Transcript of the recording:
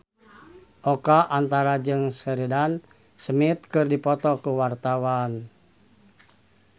Oka Antara jeung Sheridan Smith keur dipoto ku wartawan